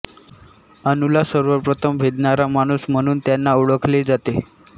अणु ला सर्वप्रथम भेदनारा माणूस म्हणून त्यांना ओळखले जाते